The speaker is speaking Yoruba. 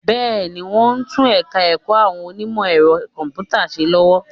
Bẹ́ẹ̀ni, wọ́n ń tún ẹ̀ka ẹ̀kọ́ àwọn onímọ̀ ẹ̀rọ kọ̀m̀pútà ṣe lọ́wọ́